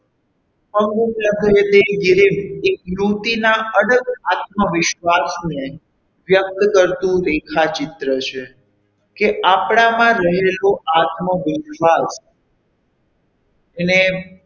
એક નીતિના અડગ આત્મવિશ્વાસ ને વ્યક્ત કરતું રેખાચિત્ર છે કે આપણામાં રહેલું આત્મવિશ્વાસ એને,